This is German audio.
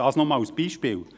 Dies nur als Beispiel.